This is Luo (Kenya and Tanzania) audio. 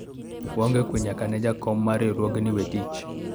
waonge kwe nyaka ne jakom mar riwruogno we tich